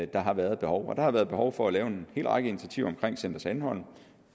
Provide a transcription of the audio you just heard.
der har været behov der har været behov for at lave en hel række initiativer for center sandholm